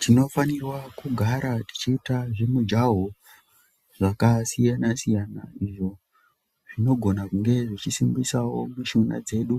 Tinofanirwa kugara tichiita zvimujaho zvakasiyana-siyana izvo zvinogona kunge zvinosimbisawo mishuna dzedu.